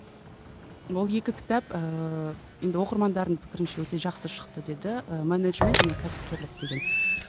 ол екі кітап ііі енді оқырмандардың пікірінше өте жақсы шықты деді і менеджмент және кәсіпкерлік деген